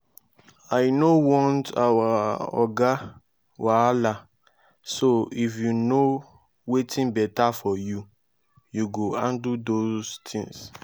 i no want our oga wahala so if you know wetin beta for you you go handle those things